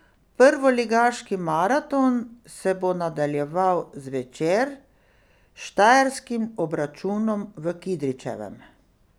Prvoligaški maraton se bo nadaljeval zvečer s štajerskim obračunom v Kidričevem.